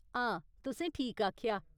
हां, तुसें ठीक आखेआ।